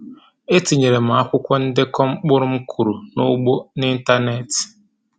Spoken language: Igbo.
E tinyeere m akwụkwọ ndekọ mkpụrụ m kọrọ n’ugbo n’ịntaneetị.